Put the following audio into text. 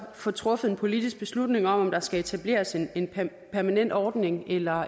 får truffet en politisk beslutning om om der skal etableres en en permanent ordning eller